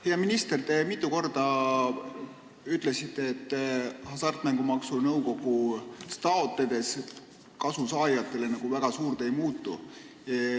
Hea minister, te ütlesite mitu korda, et Hasartmängumaksu Nõukogust toetusi taotlenute, kasusaajate jaoks suurt midagi ei muutu.